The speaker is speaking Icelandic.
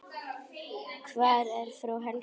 Hvar er frú Helga?